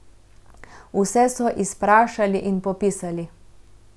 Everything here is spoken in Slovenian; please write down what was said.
Vse so izprašali in popisali.